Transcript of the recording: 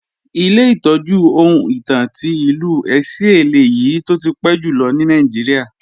Ilé ìtọ́jú ohun ìtàn ti Ìlú Ẹ̀sìẹ́ lèyí tó ti pẹ́ jùlọ ní Nàìjíríà